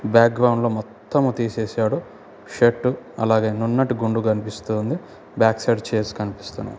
Back ground లో మొత్తం తీసేసాడు. షర్ట్ అలాగే నున్నటి గుండు కనిపిస్తోంది. బ్యాక్ సైడ్ చైర్స్ కనిపిస్తున్నాయి.